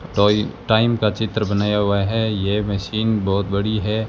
टोई टाइम का चित्र बनाया हुआ है ये मशीन बहोत बड़ी है।